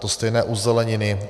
To stejné u zeleniny.